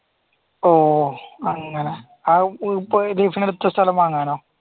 ഓ അങ്ങനെ ലീസിനെടുത്ത സ്ഥലം വാങ്ങാനോ